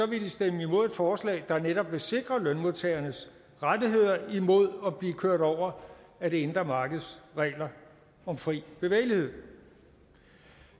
vil de stemme imod et forslag der netop vil sikre lønmodtagernes rettigheder imod at blive kørt over af det indre markeds regler om fri bevægelighed